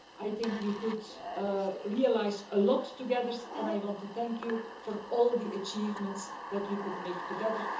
I think we were able to realise a lot together and I want to thank you for all the achievements that we were able to make together.